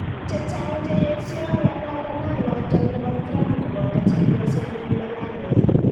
Chechang cheyesio ng'alalanoton nebo Trump koboto chebyosenyin Melania.